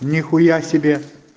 нихуя себе